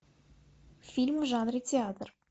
фильм в жанре театр